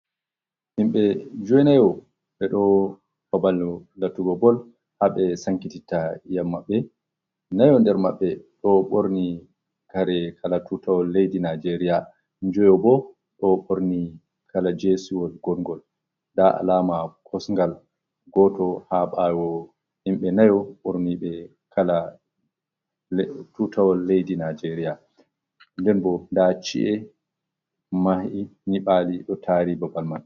Himɓe joynayo ɓe ɗo babal latugo bol ha ɓe sankititta iyam maɓɓe. Nayo nder maɓɓe ɗo ɓorni kare kala Tutawol leddi Nijeria joyo bo ɗo ɓorni kala jesiwol gorngol nda alama kosungal goto ha ɓawo himɓe nayo ɓorni be kala Tutawol leddi Nijeria nden bo nda ci’e mahi nyiɓali ɗo tari babal mai.